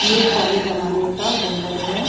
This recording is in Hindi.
ये पुराने ज़माने का गुम्मद है।